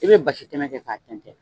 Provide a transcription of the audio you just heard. I bɛ basi tɛmɛ kɛ k'a kɛ tɛntɛn